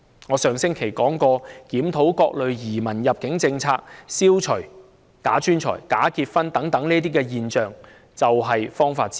我在上星期說過，檢討各類移民及入境政策，消除假專才和假結婚等現象，就是方法之一。